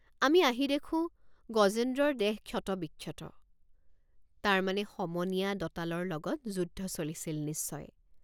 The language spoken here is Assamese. আমি আহি দেখোঁ গজেন্দ্ৰৰ দেহ ক্ষতবিক্ষত তাৰমানে সমনীয়া দঁতালৰ লগত যুদ্ধ চলিছিল নিশ্চয়।